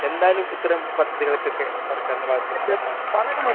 എന്തായാലും സർക്കാരിന്റെ ഭാഗത്തു നിന്ന് ഇങ്ങനെയുള്ള പദ്ധതികൾക്ക് പൂർണ്ണ സഹകരണം